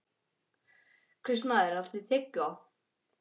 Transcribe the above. Kristmar, áttu tyggjó?